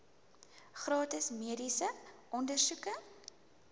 gratis mediese ondersoeke